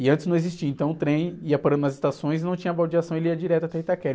E antes não existia, então o trem ia parando nas estações e não tinha baldeação, ele ia direto até Itaquera.